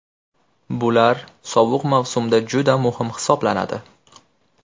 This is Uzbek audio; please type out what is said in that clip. Bular sovuq mavsumda juda muhim hisoblanadi.